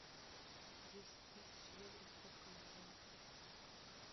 десять тысяч евро сколько на фунты